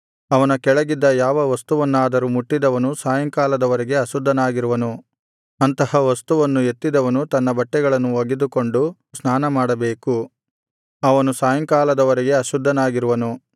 ಅವನ ಕೆಳಗಿದ್ದ ಯಾವ ವಸ್ತುವನ್ನಾದರೂ ಮುಟ್ಟಿದವನು ಸಾಯಂಕಾಲದ ವರೆಗೆ ಅಶುದ್ಧನಾಗಿರುವನು ಅಂತಹ ವಸ್ತುವನ್ನು ಎತ್ತಿದವನು ತನ್ನ ಬಟ್ಟೆಗಳನ್ನು ಒಗೆದುಕೊಂಡು ಸ್ನಾನಮಾಡಬೇಕು ಅವನು ಸಾಯಂಕಾಲದ ವರೆಗೆ ಅಶುದ್ಧನಾಗಿರುವನು